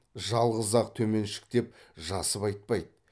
жалғыз ақ төменшіктеп жасып айтпайды